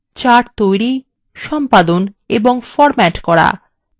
charts তৈরি সম্পাদন এবং ফরম্যাট করা